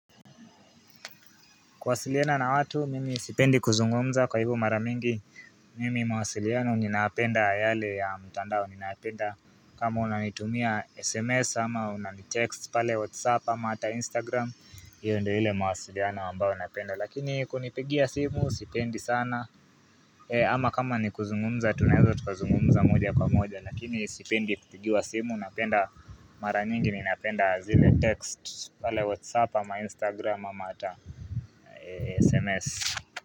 Kuasiliana na watu mimi sipendi kuzungumza kwa hivyo mara mingi mimi mawasiliano ninayapenda yale ya mtandao ninaapenda kama unanitumia sms ama unanitext pale whatsapp ama ata instagram hiyo ndo ile mawasiliano ambayo napenda lakini kunipigia simu sipendi sana ama kama ni kuzungumza tunaeza tukazungumza moja kwa moja Lakini sipendi kutipiwa simu napenda mara nyingi ninapenda zile text pale whatsapp ama instagram ama ata sms.